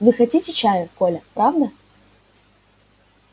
вы хотите чаю коля правда